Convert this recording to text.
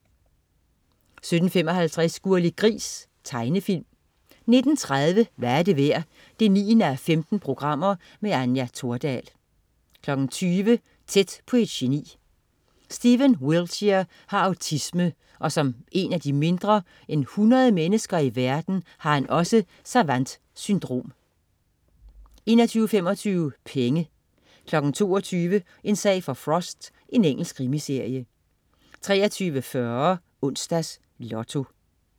17.55 Gurli Gris. Tegnefilm 19.30 Hvad er det værd? 9:15. Anja Thordal 20.00 Tæt på et geni. Stephen Wiltshire har autisme, og som en af de mindre end 100 mennesker i verden har han også savant-syndrom 21.25 Penge 22.00 En sag for Frost. Engelsk krimiserie 23.40 Onsdags Lotto